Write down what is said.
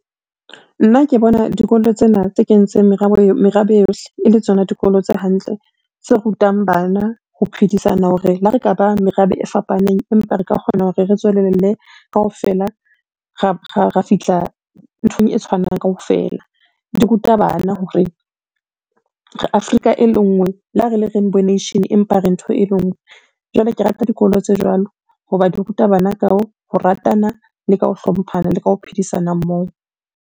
Nna ke bona dikolo tsena tse kentseng merabe yohle e le tsona dikolo tse hantle, tse rutang bana ho phedisana hore le ha re ka ba merabe e fapaneng, empa re ka kgona hore re tswelelle kaofela, ra fihla nthong e tshwanang kaofela. Di ruta bana hore Afrika e le nngwe le ha re le rainbow nation empa re ntho e le nngwe, jwale ke rata dikolo tse jwalo ho ba di ruta bana ka ho ratana, le ka ho hlomphana le ka ho phedisana moo.